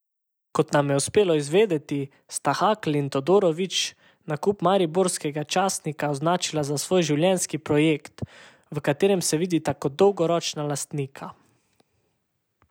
Kot nam je uspelo izvedeti, sta Hakl in Todorović nakup mariborskega časnika označila za svoj življenjski projekt, v katerem se vidita kot dolgoročna lastnika.